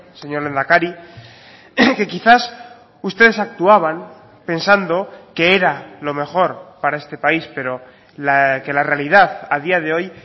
señor lehendakari que quizás ustedes actuaban pensando que era lo mejor para este país pero que la realidad a día de hoy